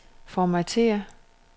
formatér